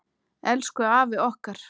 Elsku afi okkar.